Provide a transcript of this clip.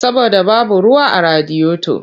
Saboda babu ruwa a radiyoto.